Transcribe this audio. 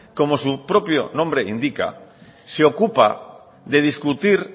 como su propio nombre indica se ocupa de discutir